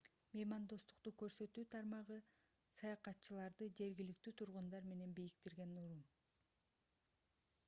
меймандостук көрсөтүү тармагы саякатчыларды жергиликтүү тургундар менен бириктирген уюм